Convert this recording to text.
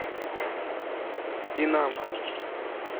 динамо